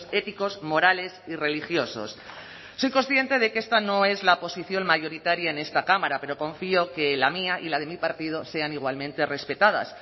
éticos morales y religiosos soy consciente de que esta no es la posición mayoritaria en esta cámara pero confío que la mía y la de mi partido sean igualmente respetadas